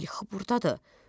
İlxı burdadır.